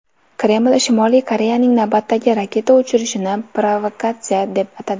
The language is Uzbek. Kreml Shimoliy Koreyaning navbatdagi raketa uchirishini provokatsiya deb atadi.